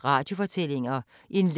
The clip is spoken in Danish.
Radio24syv